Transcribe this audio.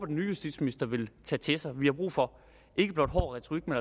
den nye justitsminister vil tage til sig vi har brug for hård retorik